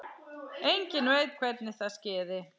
Enginn veit hvernig það skeði.